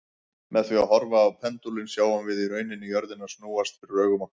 Með því að horfa á pendúlinn sjáum við í rauninni jörðina snúast fyrir augum okkar.